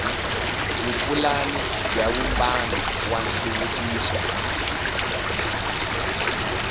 vupulani bya vumbano wa nhluvukiso